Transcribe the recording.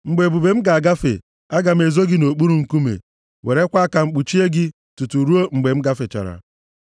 Mgbe ebube m ga-agafe, aga m ezo gị nʼokpuru nkume, werekwa aka m kpuchie gị, tutu ruo mgbe m gafechara.